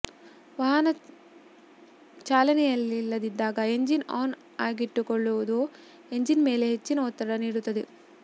ವಾಹನ ಚಾಲನೆಯಲ್ಲಿಲ್ಲದಾಗ engine on ಆಗಿಟ್ಟುಕೊಳ್ಳುವುದು ಎಂಜಿನ್ ಮೇಲೆ ಹೆಚ್ಚಿನ ಒತ್ತಡ ನೀಡುತ್ತದೆ